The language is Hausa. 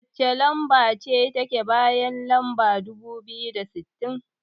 Wacce lamba ce take bayan lamba dubu biyu da sittin?